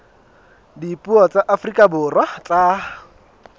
dipuo tsa afrika borwa tsa